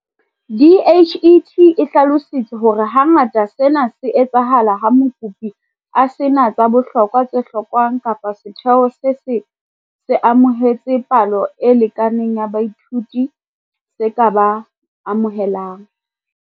DHET e hlalositse hore hangata sena se etsahala ha mokopi a se na tsa bohlokwa tse hlokwang kapa setheo se se se amohetse palo e lekaneng ya baithuti bao se ka ba amohelang.